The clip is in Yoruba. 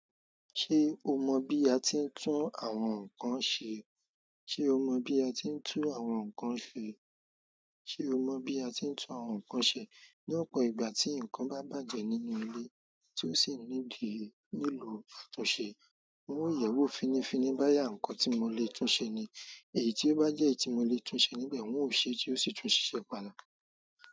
Ṣé o mo bí a ti ń tún àwọn ǹkan ṣé? Ṣé o mo bí a ti ń tún àwọn ǹkan ṣé? Ṣé o mo bí a ti ń tún àwọn ǹkan ṣe? Ní ọ̀pọ̀ ìgbà tí ǹkan bá bàjẹ́ nínú ilé tí ó sì need nílò ìtunse, n ó yẹ̀wò finifini boyà ǹkan tí mo lè tún ṣe ni. Èyí tí ó bá jẹ́ èyí tí mo lè túnṣe níbẹ̀, n ó ṣe é tí ó sì tún ṣiṣẹ́ padà.